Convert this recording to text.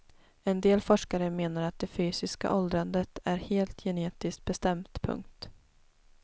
En del forskare menar att det fysiska åldrandet är helt genetiskt bestämt. punkt